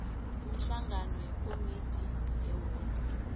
imihlangano yekomidi yewodi